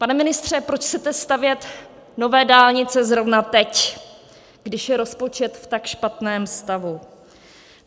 Pane ministře, proč chcete stavět nové dálnice zrovna teď, když je rozpočet v tak špatném stavu?